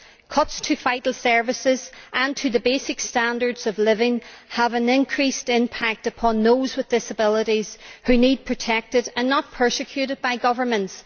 Cuts to vital services and in basic standards of living have an increased impact on those with disabilities, who need to be protected and not persecuted by governments.